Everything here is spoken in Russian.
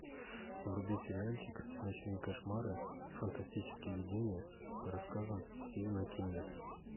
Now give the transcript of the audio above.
вруби сериальчик ночные кошмары и фантастические видения по рассказам стивена кинга